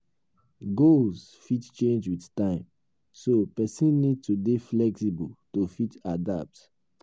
goals fit change with time so person need to dey flexible to fit adapt